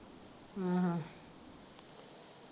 ਹਾਂ .